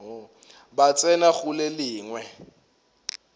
ba tsena go le lengwe